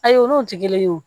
Ayi olu jigilen y'o